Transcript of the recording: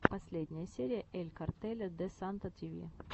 последняя серия эль картеля де санта ти ви